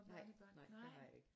Nej nej det har jeg ikke